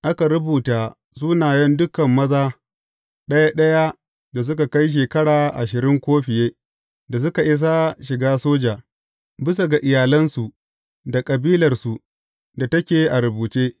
Aka rubuta sunayen dukan maza ɗaya ɗaya da suka kai shekara ashirin ko fiye da suka isa shiga soja, bisa ga iyalansu da kabilarsu da take a rubuce.